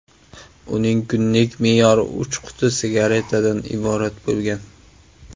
Uning kunlik me’yori uch quti sigaretadan iborat bo‘lgan.